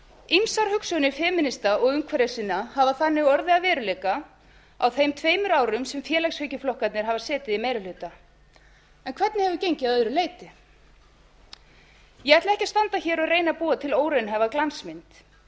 ýmsar hugsjónir femínisma og umhverfissinna hafa þannig orðið að veruleika á þeim tveimur árum sem félagshyggjuflokkarnir hafa setið í meiri hluta en hvernig hefur gengið að öðru leyti ég ætla ekki standa hér og reyna að búa til óraunhæfa glansmynd